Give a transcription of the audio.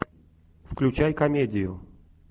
включай комедию